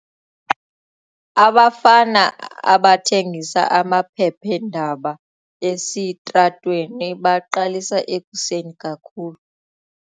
Abafana abathengisa amaphephandaba esitratweni baqalisa ekuseni kakhulu.